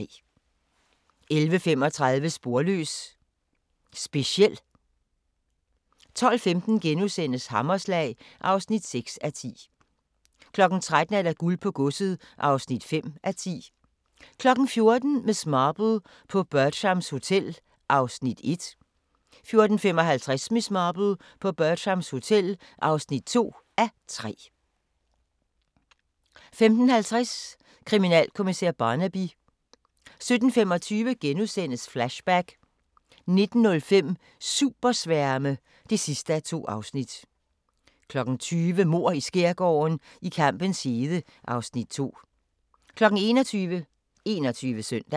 11:35: Sporløs - speciel 12:15: Hammerslag (6:10)* 13:00: Guld på godset (5:10) 14:00: Miss Marple: På Bertram's Hotel (1:3) 14:55: Miss Marple: På Bertram's Hotel (2:3) 15:50: Kriminalkommissær Barnaby 17:25: Flashback * 19:05: Supersværme (2:2) 20:00: Mord i Skærgården: I kampens hede (Afs. 2) 21:00: 21 Søndag